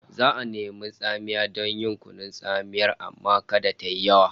Za'a nemi tsamiya don yin kunun tsamiyar amma kada tayi yawa